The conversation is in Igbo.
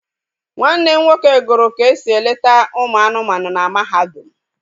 Nwanne m nwoke gụrụ ka esi eleta ụmụ anụmanụ na mahadum